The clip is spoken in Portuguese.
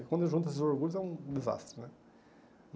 E quando junta esses orgulhos é um desastre, né?